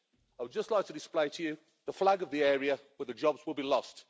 I would just like to display to you the flag of the area where the jobs will be lost.